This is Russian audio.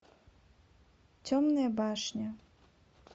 темная башня